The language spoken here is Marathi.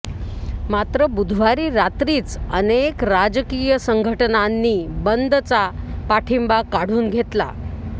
मात्र बुधवारी रात्रीच अनेक राजकीय संघटनांनी बंदचा पाठिंबा काढून घेतला